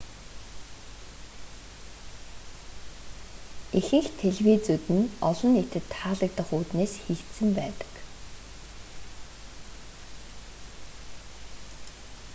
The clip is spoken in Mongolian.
ихэнх телевизүүд нь олон нийтэд таалагдах үүднээс хийгдсэн байдаг